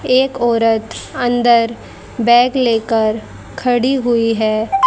एक औरत अंदर बैग लेकर खड़ी हुई है।